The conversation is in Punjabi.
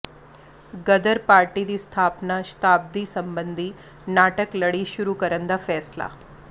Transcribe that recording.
ਗ਼ਦਰ ਪਾਰਟੀ ਦੀ ਸਥਾਪਨਾ ਸ਼ਤਾਬਦੀ ਸਬੰਧੀ ਨਾਟਕ ਲੜੀ ਸ਼ੁਰੂ ਕਰਨ ਦਾ ਫੈਸਲਾ